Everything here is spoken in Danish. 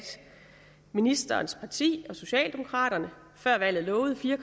ministerens parti og socialdemokraterne før valget lovede fire